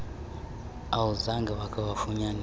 awuzange wakha wafunyaniswa